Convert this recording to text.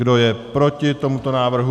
Kdo je proti tomuto návrhu?